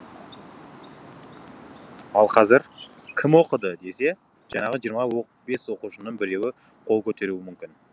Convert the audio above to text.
ал қазір кім оқыды десе жаңағы жиырма бес оқушының біреуі қол көтеруі мүмкін